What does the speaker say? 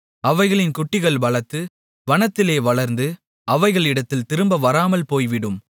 அவைகளின் குட்டிகள் பலத்து வனத்திலே வளர்ந்து அவைகளிடத்தில் திரும்ப வராமல் போய்விடும்